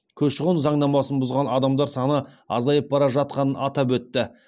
көші қон заңнамасын бұзған адамдар саны азайып бара жатқанын атап өтті